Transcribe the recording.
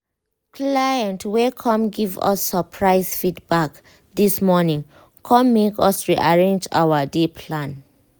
client wey come give us surprise feedback this morning com make us rearrange our day plan.